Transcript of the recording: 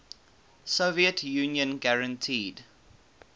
soviet union guaranteed